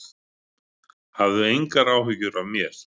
Hafðu engar áhyggjur af mér